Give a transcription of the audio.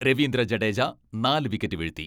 രവീന്ദ്ര ജഡേജ നാല് വിക്കറ്റ് വീഴ്ത്തി.